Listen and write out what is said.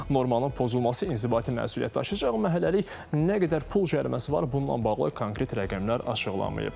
Normanın pozulması inzibati məsuliyyət daşıyacaq, amma hələlik nə qədər pul cəriməsi var, bununla bağlı konkret rəqəmlər açıqlanmayıb.